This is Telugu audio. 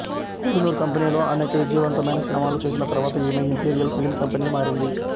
కోహినూర్ కంపెనీలో అనేక విజయవంతమైన సినిమాలు చేసిన తర్వాత ఈమె ఇంపీరియల్ ఫిలిం కంపెనీకి మారింది